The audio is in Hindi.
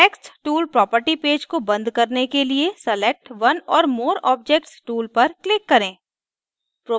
text tool property पेज को बंद करने के लिए select one or more objects tool पर click करें